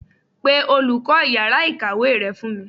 Pe olùkó yàrá ìkàwé re fún mi